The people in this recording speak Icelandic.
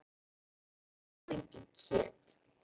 Ég borða ekki kjöt.